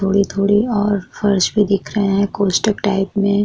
थोड़ी-थोड़ी और फर्श भी दिख रहे है कोष्ठक टाइप में।